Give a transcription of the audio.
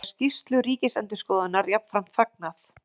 Er skýrslu Ríkisendurskoðunar jafnframt fagnað